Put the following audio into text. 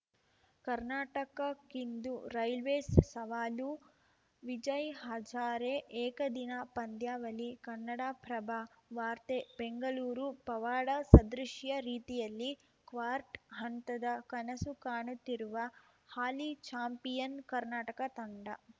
ಕರ್ನಾಟಕಕ್ಕಿಂದು Railways ಸವಾಲು ವಿಜಯ್‌ ಹಜಾರೆ ಏಕದಿನ ಪಂದ್ಯಾವಳಿ ಕನ್ನಡಪ್ರಭ ವಾರ್ತೆ ಬೆಂಗಳೂರು ಪವಾಡ ಸದೃಶ್ಯ ರೀತಿಯಲ್ಲಿ ಕ್ವಾರ್ಟ್ ಹಂತದ ಕನಸು ಕಾಣುತ್ತಿರುವ ಹಾಲಿ ಚಾಂಪಿಯನ್‌ ಕರ್ನಾಟಕ ತಂಡ